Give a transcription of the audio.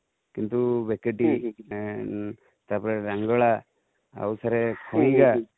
କିନ୍ତୁ ବେକେଟି ତାପରେ ରେଙ୍ଗଳା ଆଉ ସାର କଇଁଯା